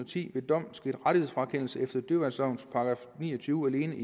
ti ved dom sket rettighedsfrakendelse efter dyreværnslovens § ni og tyve alene